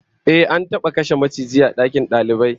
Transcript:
Ehh, an taba kashe maciji a dakin dalibai